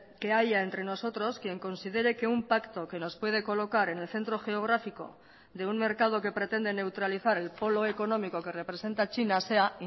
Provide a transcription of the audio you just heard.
que haya entre nosotros quien considere que un pacto que nos puede colocar en el centro geográfico de un mercado que pretende neutralizar el polo económico que representa china sea